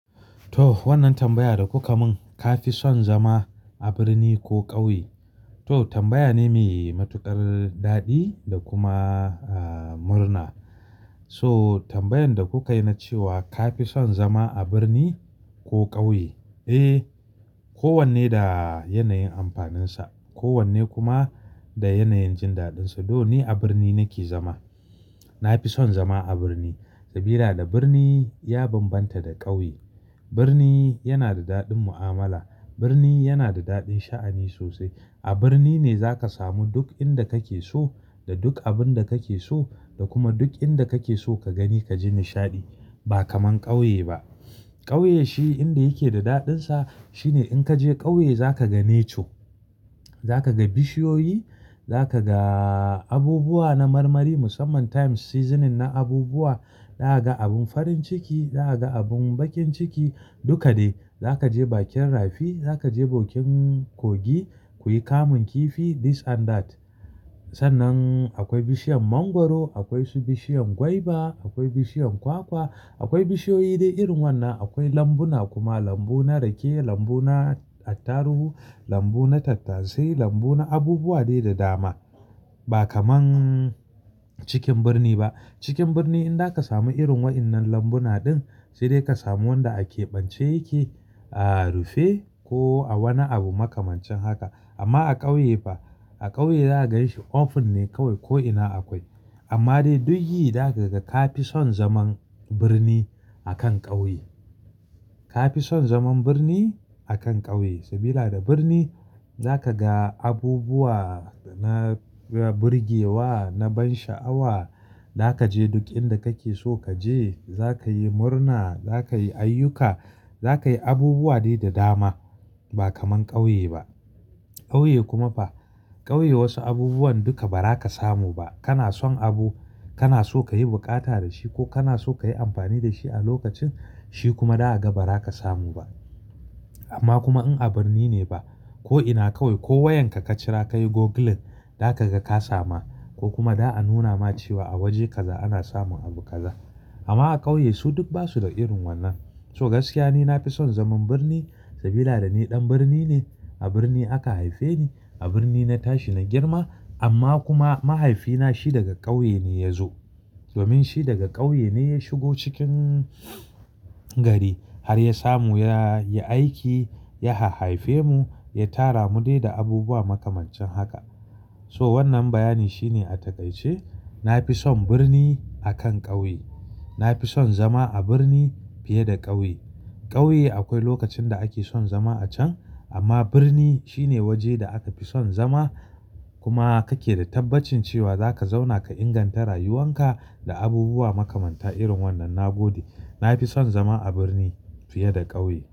To wannan tambaya da kuka mun, ka fi son zama a birni ko ƙauye? To, tambaya ne mai matuƙar daɗi da kuma a murna. So tambayan da kuka yi na cewa ka fi son zama a birni ko ƙauye? Eh, kowanne da yanayin amfaninsa. Kowanne kuma da yanayin jin daɗinsa. Though, ni a birni nake zama. Na fi son zama a birni, saboda birni ya bambanta da ƙauye. Birni yana da daɗin mu'amala. Birni yana da daɗin sha'ani sosai. A birni ne zaka samu duk inda kake so da duk abin da kake so da kuma duk inda kake so ka gani ka ji nishaɗi. Ba kamar ƙauye ba. Ƙauye shi inda yake da daɗinsa shine in ka je ƙauye zaka ga Nature, za ka ga bishiyoyi, za ka ga abubuwa na marmari musamman Time Seasoning na abubuwa. Za ka ga abun farin ciki. Za ka ga abun baƙin ciki. Duka dai. Za ka je bakin rafi. Za ka je bakin kogi kuyi kamun kifi This and That. Sannan akwai bishiyan mangwaro, akwai su bishiyan gwaiba, akwai bishiyan kwakwa. Akwai bishiyoyi dai irin wannan. Akwai lambuna kuma, lambu na rake, lambu na ataruhu, lambu na tattasai, lambu na abubuwa dai da dama. Ba kamar cikin birni ba. Cikin birni in da ka samu irin wa'yannan lambuna din sai dai ka samu wanda akeɓance yake a rufe ko a wani abu makamancin haka. Amma a ƙauye fa, a ƙauye za ka ganshi Open ne kawai ko ina akwai. Amma dai duk yi za ka ga ka fi son zaman birni a kan ƙauye. Ka fi son zaman birni a kan ƙauye saboda a birni za ka ga abubuwa na burgewa na ban sha'awa. Za ka je duk inda kake so ka je. Za ka yi murna, za ka yi ayyuka. Za ka yi abubuwa dai da dama ba kamar ƙauye ba. Ƙauye kuma fa, ƙauye wasu abubuwan duka ba za ka samu ba. Kana son abu kana so ka yi buƙata da shi ko kana so ka yi amfani da shi a lokacin shi kuma za ka ga ba za ka samu ba. Amma kuma in a birni ne ko ina kawai ko wayanka ka cira kayi Googling zaka ga ka sama ko kuma za a nuna ma cewa a waje kaza ana samun abu kaza. Amma a ƙauye su duk basu da irin wannan. To gaskiya ni na fi son zaman birni saboda ni ɗan birni ne. A birni aka haife ni. A birni na tashi na girma. Amma kuma mahaifina shi daga ƙauye ne ya zo. Domin shi daga ƙauye ne ya shigo cikin gari har ya samu ya yi aiki, ya hahaife mu, ya tara mu dai da abubuwa makamancin haka. To wannan bayani shine a taƙaice, na fi son birni a kan ƙauye. Na fi son zama a birni fiye da ƙauye. Ƙauye akwai lokacin da ake son zama a can, amma birni shine waje da aka fi son zama. Kuma kake da tabbacin cewa za ka zauna ka inganta rayuwan ka da abubuwa makamanta irin wannan. Na gode. Na fi son zama a birni fiye da ƙauye.